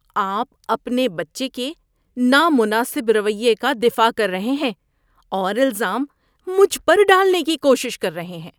آپ اپنے بچے کے نامناسب رویے کا دفاع کر رہے ہیں اور الزام مجھ پر ڈالنے کی کوشش کر رہے ہیں۔